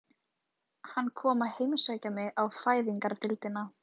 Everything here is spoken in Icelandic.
Hann kom að heimsækja mig á Fæðingardeildina.